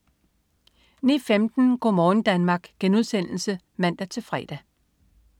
09.15 Go' morgen Danmark* (man-fre)